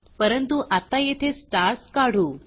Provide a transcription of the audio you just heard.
परंतु आत्ता येथे स्टार्स काढू